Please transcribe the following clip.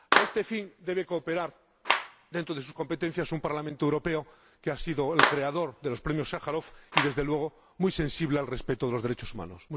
A este fin debe cooperar, dentro de sus competencias, un Parlamento Europeo que ha sido el creador del Premio Sájarov y, desde luego, muy sensible al respeto de los derechos humanos.